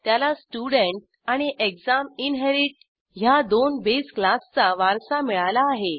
त्याला स्टुडेंट आणि exam inherit ह्या दोन बेस क्लासचा वारसा मिळाला आहे